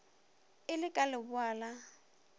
e le ka leboa la